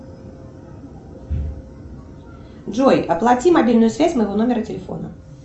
джой оплати мобильную связь моего номера телефона